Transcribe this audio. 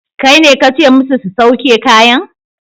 Kaine kace musu su sauke kayan?